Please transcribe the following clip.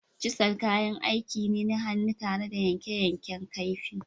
“Chisel” kayan aiki ne na hannu tare da yanke yankan kaifi.